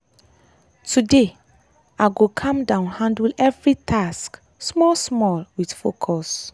today i go calm down handle every task small small with focus